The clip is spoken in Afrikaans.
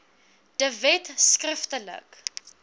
de wet skriftelik